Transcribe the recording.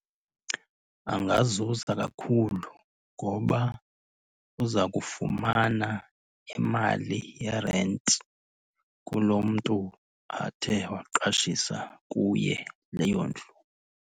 Angazuza kakhulu ngoba uza kufumana imali yerenti kuloo mntu athe waqashisa kuye leyo ndlu.